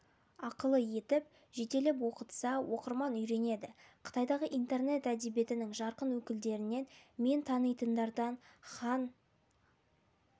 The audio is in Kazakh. ақылы етіп жетелеп оқытса оқырман үйренеді қытайдағы интернет әдебиетінің жарқын өкілдерінен мен танитындардан хан хан